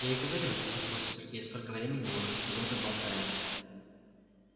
я и говорю рассердился сергей сколько времени мы уже с тобой тут болтаем